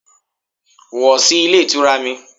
Wọ̀ sí Ilé Ìtura mi